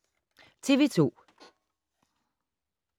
TV 2